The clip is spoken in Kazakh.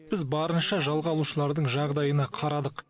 біз барынша жалға алушылардың жағдайына қарадық